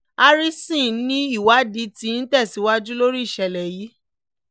harrison ni ìwádìí tí ń tẹ̀síwájú lórí ìṣẹ̀lẹ̀ yìí